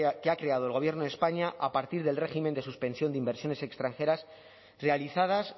que ha creado el gobierno de españa a partir del régimen de suspensión de inversiones extranjeras realizadas